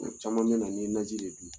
A caman bɛ na n'i ye naji de dun.